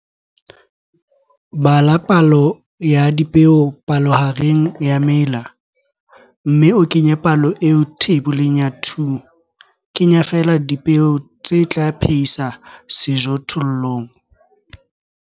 3.3 Bala palo ya dipeo palohareng ya mela, mme o kenye palo eo Theiboleng ya 2, Kenya feela dipeo tse tla phehisa sejothollong.